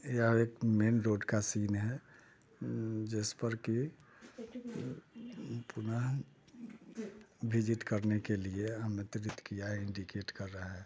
यहा एक main road का सीन है उम जिस पर के पुनः विजिट करने के लिए आमंत्रित किया इंडीकेट कर रहा है।